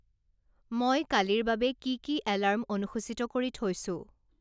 মই কালিৰ বাবে কি কি এলাৰ্ম অনুসূচিত কৰি থৈছো